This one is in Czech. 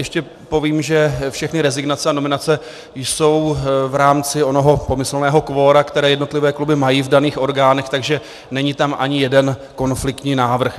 Ještě povím, že všechny rezignace a nominace jsou v rámci onoho pomyslného kvora, které jednotlivé kluby mají v daných orgánech, takže není tam ani jeden konfliktní návrh.